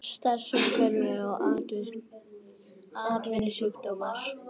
Starfsumhverfi og atvinnusjúkdómar.